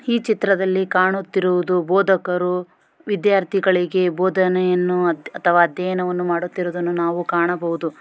ಈ ಚಿತ್ರದಲ್ಲಿ ಕಾಣುತ್ತಿರುವುದು ಬೋಧಕರು ವಿದ್ಯಾರ್ಥಿಗಳಿಗೆ ಬೋಧನೆಯನ್ನು ಅಥವಾ ಅಧ್ಯಾಯನವನ್ನು ಮಾಡುತ್ತಿರುವುದನ್ನು ನಾವು ಕಾಣಬಹುದು.